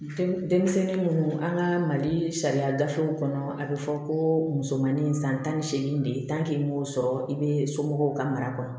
Denmisɛnnin munnu an ka mali sariya gafew kɔnɔ a be fɔ ko musomanin san tan ni seegin de ye m'o sɔrɔ i be somɔgɔw ka mara kɔnɔ